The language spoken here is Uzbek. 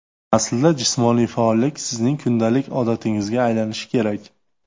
Aslida jismoniy faollik sizning kundalik odatingizga aylanishi kerak.